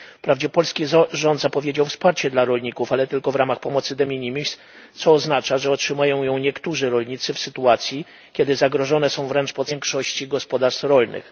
Wprawdzie polski rząd zapowiedział wsparcie dla rolników, ale tylko w ramach pomocy de minimis, co oznacza, że otrzymają ją niektórzy rolnicy w sytuacji, kiedy zagrożone są wręcz podstawy egzystencji większości gospodarstw rolnych.